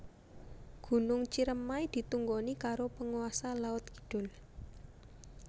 Gunung Ciremai ditunggoni karo penguasa laut kidul